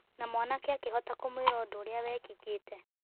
Na mwanake akĩhota kũmwĩra ũndũ ũrĩa wekĩkĩte.